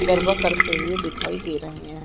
गरबा करते हुए दिखाई दे रहै हैं।